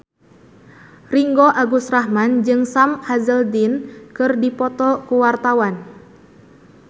Ringgo Agus Rahman jeung Sam Hazeldine keur dipoto ku wartawan